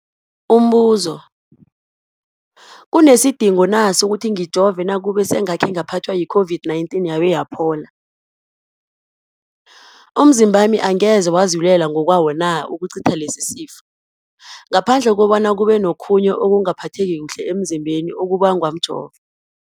Umbuzo, kunesidingo na sokuthi ngijove nakube sengakhe ngaphathwa yi-COVID-19 yabe yaphola? Umzimbami angeze wazilwela ngokwawo na ukucitha lesisifo, ngaphandle kobana kube nokhunye ukungaphatheki kuhle emzimbeni okubangwa mjovo?